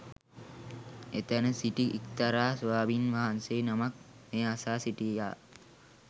එතැන සිටි එක්තරා ස්වාමීන් වහන්සේ නමක් මෙය අසා සිටියා